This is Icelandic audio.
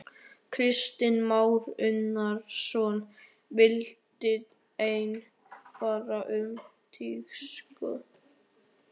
Kristján Már Unnarsson: Viltu enn fara um Teigsskóg?